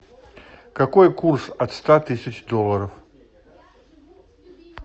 какой курс от ста тысяч долларов